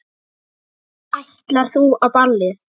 Ætlar þú á ballið?